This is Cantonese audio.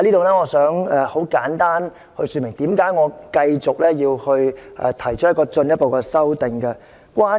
我想在此簡單說明為何我要進一步提出修正案。